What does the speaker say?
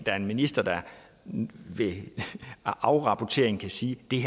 er en minister der ved afrapporteringen kan sige